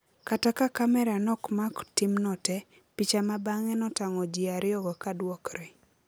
Kata ka kamera nokmako timno tee, picha ma bange notango jiariyogo ka duokre